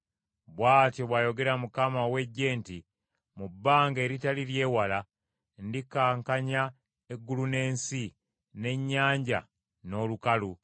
“Bw’atyo bw’ayogera Mukama ow’Eggye nti, ‘Mu bbanga eritali ly’ewala ndikankanya eggulu n’ensi, n’ennyanja n’olukalu.